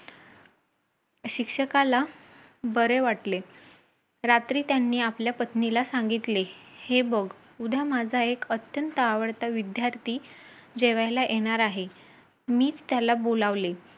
भरतीच्या तयारीलाच सुरुवातही झाली .